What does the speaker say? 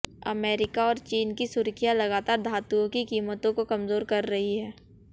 America और चीन की सुर्खियां लगातार धातुओं की कीमतों को कमजोर कर रही हैं